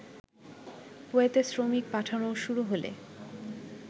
কুয়েতে শ্রমিক পাঠানো শুরু হলে